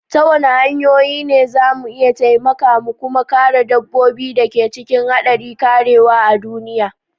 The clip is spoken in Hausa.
Ta wani hanyoyi ne za mu iya taimaka mu kuma kare dabbobin da ke cikin haɗari karewa a duniya?